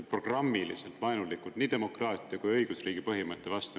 Te olete programmiliselt vaenulikud nii demokraatia kui ka õigusriigi põhimõtte vastu.